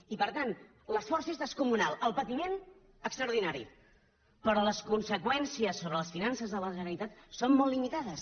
i per tant l’esforç és descomunal el patiment extraordinari però les conseqüències sobre les finances de la generalitat són molt limitades